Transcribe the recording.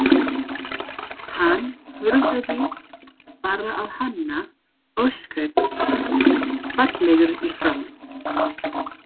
Hann horfði bara á hana, ósköp fallegur í framan.